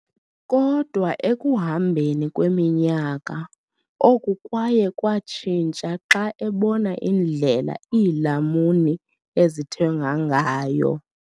Kodwa ekuhambeni kweminyaka, oku kwaye kwatshintsha xa ebona indlela iilamuni ezithengwa ngayo.